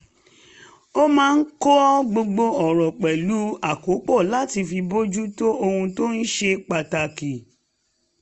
a máa ń kọ́ gbogbo ọ̀rọ̀ pẹ̀lú àkópọ̀ láti fi bójú tó ohun tó ṣe pàtàkì